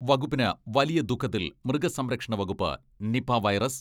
വകുപ്പിന് വലിയ ദുഃഖത്തിൽ മൃഗസംരക്ഷണ വകുപ്പ് നിപാ വൈറസ്